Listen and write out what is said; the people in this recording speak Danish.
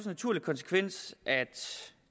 naturlig konsekvens at